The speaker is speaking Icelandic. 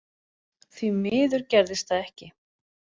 Því miður gerðist það ekki.